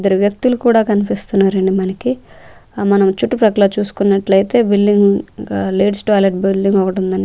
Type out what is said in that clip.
ఇద్దరు వ్యక్తులు కూడా కనిపిస్తున్నారండి మనకి ఆ మనం చుట్టుపక్కల చూసుకున్నట్లయితే విల్లింగ్ ఆ లేడీస్ టాయిలెట్ బిల్డింగ్ ఒకటి ఉందండి.